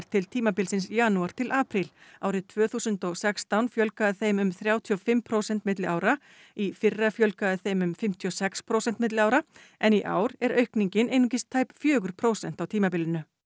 til tímabilsins janúar til apríl árið tvö þúsund og sextán fjölgaði þeim um þrjátíu og fimm prósent milli ára í fyrra fjölgaði þeim um fimmtíu og sex prósent milli ára en í ár er aukningin einungis tæp fjögur prósent á tímabilinu